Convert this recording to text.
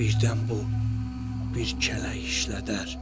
Birdən bu bir kələk işlədər.